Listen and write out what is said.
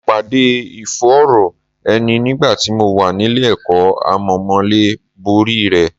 Mo pàdé ìfòòró ẹni nígbà tí mo wà nílé ẹ̀kọ́, àmọ́ mo lè borí rẹ̀